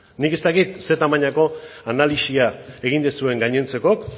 nik ez dakit zein tamainako analisia egin duzuen gainontzekok